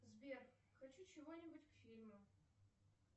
сбер хочу чего нибудь к фильму